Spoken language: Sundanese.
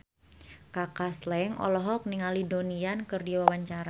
Kaka Slank olohok ningali Donnie Yan keur diwawancara